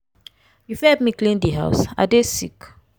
you fit help me clean di house? i dey sick.